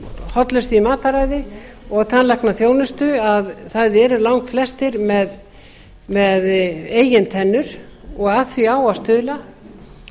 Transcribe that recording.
hollustu í mataræði og tannlæknaþjónustu að það eru langflestir með eigin tennur og að því á að stuðla